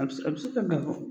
A bɛ a bɛ se ka na bɔ.